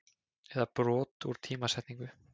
eða brot úr tímasetningu.